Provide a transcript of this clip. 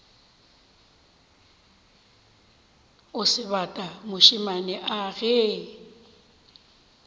o sebata mošemane a ge